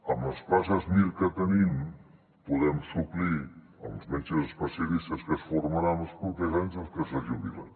amb les places mir que tenim podem suplir els metges especialistes que es formaran els propers anys i els que se jubilen